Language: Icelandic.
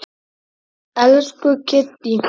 Elsku Kiddý.